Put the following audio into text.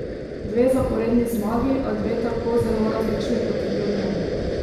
Dve zaporedni zmagi, a dve tako zelo različni poti do nje.